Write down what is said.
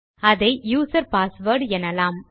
அதை user password எனலாம்